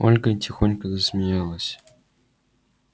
ольга тихонько засмеялась